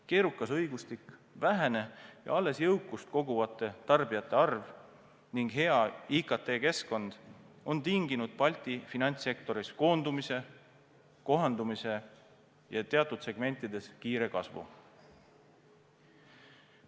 Keerukas õigustik, vähene ja alles jõukust koguvate tarbijate arv ning hea IKT-keskkond on tinginud Balti finantssektoris koondumise, kohandumise ja teatud segmentides kiire kasvu.